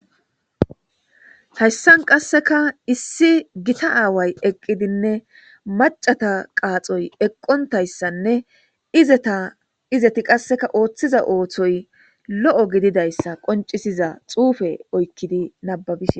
Hayssan qasseka issi gita away eqidinne macata qaaxoy eqqontayssanne izetizeti qasseka oothiza ooththoy lo7o gididayssa qoncisiza xuufe oykkidi nababise.